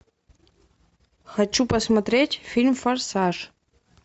хочу посмотреть фильм форсаж